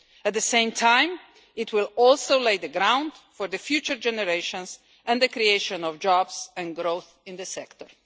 At the same time, it will also lay the groundwork for future generations and the creation of jobs and growth in the sector.